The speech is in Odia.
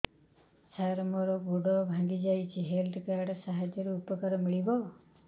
ସାର ମୋର ଗୋଡ଼ ଭାଙ୍ଗି ଯାଇଛି ହେଲ୍ଥ କାର୍ଡ ସାହାଯ୍ୟରେ ଉପକାର ମିଳିବ